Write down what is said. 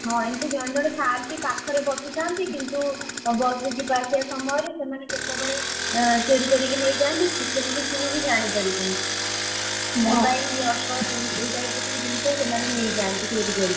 ହଁ ଏମତି ଥାନ୍ତି ଜଣେ ଜଣେ ପାଖରେ ବସିଥାନ୍ତି କିନ୍ତୁ, ବସ ରେ ଯିବା ଆସିବା ସମୟରେ ସେମାନେ କେତବେଳେ ଏଁ ଚୋରୀ କରିକି ନେଇଯାନ୍ତି , ସେମତି ତୁ ବି ଜାଣି ପାରିବୁନୁ। mobile ଏଇ type ର ସବୁ ଜିନିଷ ସେମାନେ ନେଇଯାଆନ୍ତି ଚୋରି କରିକି।